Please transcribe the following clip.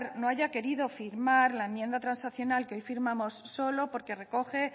no haya querido firmar la enmienda transaccional que hoy firmamos solo porque recoge